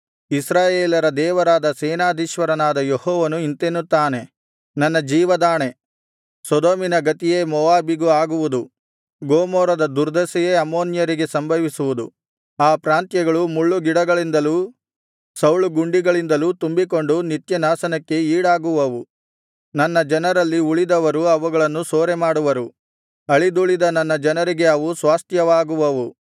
ಇಸ್ರಾಯೇಲರ ದೇವರಾದ ಸೇನಾಧೀಶ್ವರನಾದ ಯೆಹೋವನು ಇಂತೆನ್ನುತ್ತಾನೆ ನನ್ನ ಜೀವದಾಣೆ ಸೊದೋಮಿನ ಗತಿಯೇ ಮೋವಾಬಿಗೂ ಆಗುವುದು ಗೊಮೋರದ ದುರ್ದಶೆಯೇ ಅಮ್ಮೋನ್ಯರಿಗೆ ಸಂಭವಿಸುವುದು ಆ ಪ್ರಾಂತ್ಯಗಳು ಮುಳ್ಳುಗಿಡಗಳಿಂದಲೂ ಸೌಳುಗುಂಡಿಗಳಿಂದಲೂ ತುಂಬಿಕೊಂಡು ನಿತ್ಯ ನಾಶನಕ್ಕೆ ಈಡಾಗುವವು ನನ್ನ ಜನರಲ್ಲಿ ಉಳಿದವರು ಅವುಗಳನ್ನು ಸೂರೆಮಾಡುವರು ಅಳಿದುಳಿದ ನನ್ನ ಜನರಿಗೆ ಅವು ಸ್ವಾಸ್ತ್ಯವಾಗುವವು